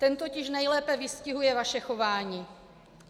Ten totiž nejlépe vystihuje vaše chování.